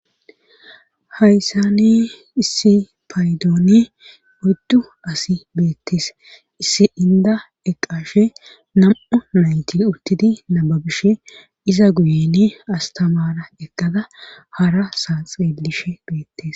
hayssani issi paydoone guddu asi beettis issi inda eqashe nam7u nayti uttidi nababishe iza guyeni astamara eqqada hara sanxeelishe beettes